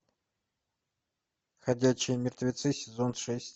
ходячие мертвецы сезон шесть